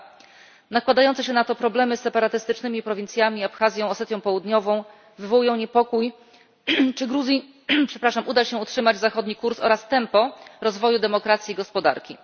2. Nakładające się na to problemy z separatystycznymi prowincjami Abchazją, Osetią Południową wywołują niepokój, czy Gruzji uda się utrzymać zachodni kurs oraz tempo rozwoju demokracji i gospodarki.